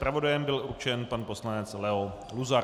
Zpravodajem byl určen pan poslanec Leo Luzar.